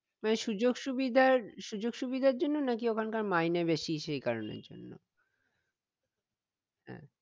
হ্যাঁ মানে সুযোগ~ সুবিধার সুযোগ সুবিধার জন্য নাকি ওখানকার মাইনে বেশি সেই কারণের জন্য